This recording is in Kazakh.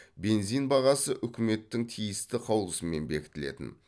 бензин бағасы үкіметтің тиісті қаулысымен бекітілетін